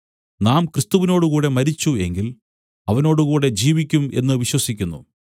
നാം ക്രിസ്തുവിനോടുകൂടെ മരിച്ചു എങ്കിൽ അവനോടുകൂടെ ജീവിക്കും എന്നു വിശ്വസിക്കുന്നു